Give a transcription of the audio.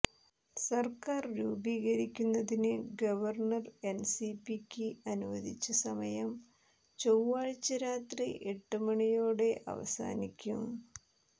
സർക്കാർ രൂപീകരിക്കുന്നതിന് ഗവർണർ എൻസിപിക്ക് അനുവദിച്ച സമയം ചൊവ്വാഴ്ച രാത്രി എട്ട് മണിയോടെ അവസാനിക്കും